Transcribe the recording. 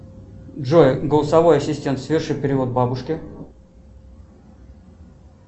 джой голосовой ассистент соверши перевод бабушке